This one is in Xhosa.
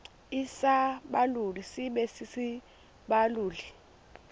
isibaluli sibe sisibaluli